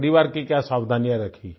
परिवार की क्या सावधानियां रखी